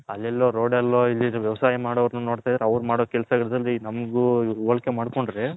ಅಲ್ಲಿ ಎಲ್ಲೊ ರೋಡಲ್ಲಿ ವ್ಯವಸಾಯ ಮಾಡೋರನ್ನಾ ನೋಡ್ತೈದ್ರೆ ಅವರು ಮಾಡೋ ಕೆಲಸ ನಮ್ಮಗ್ ಹೋಲಿಕೆ ಮಾಡ್ಕೊಂಡ್ರೆ .